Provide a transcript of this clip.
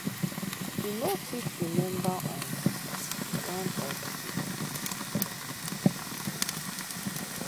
e no fit remember um one or two